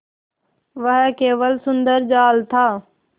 वह केवल सुंदर जाल था